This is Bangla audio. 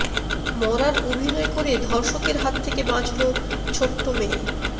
মরার অভিনয় করে ধর্ষকের হাত থেকে বাঁচল ছোট্ট মেয়ে